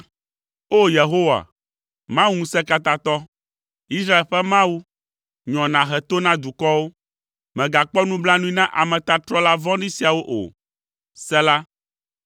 O! Yehowa, Mawu Ŋusẽkatãtɔ, Israel ƒe Mawu, nyɔ nàhe to na dukɔwo, mègakpɔ nublanui na ametatrɔla vɔ̃ɖi siawo o. Sela